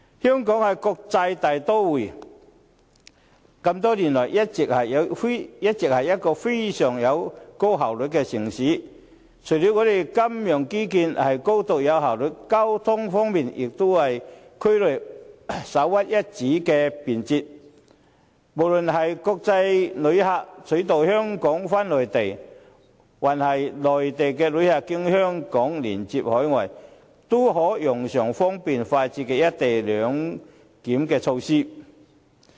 香港是一個國際大都會，多年來均是一個效率極高的城市，除了金融基建高度有效率之外，交通方面也是區內首屈一指的便捷，無論是國際旅客取道香港返回內地，還是內地旅客經香港連接海外，均可用上方便快捷的"一地兩檢"措施。